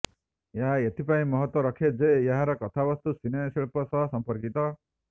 ଏହା ଏଇଥିପାଇଁ ମହତ୍ତ୍ୱ ରଖେ ଯେ ଏହାର କଥାବସ୍ତୁ ସିନେ ଶିଳ୍ପ ସହ ସଂପର୍କିତ